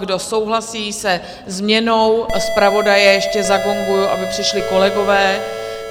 Kdo souhlasí se změnou zpravodaje - ještě zagonguji, aby přišli kolegové.